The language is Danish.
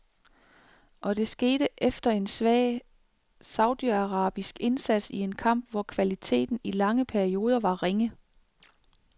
Og det skete efter en svag saudiarabisk indsats i en kamp, hvor kvaliteten i lange perioder var ringe.